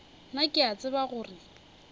nna ke a tseba gore